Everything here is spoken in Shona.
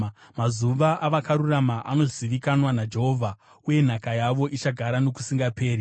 Mazuva avakarurama anozivikanwa naJehovha, uye nhaka yavo ichagara nokusingaperi.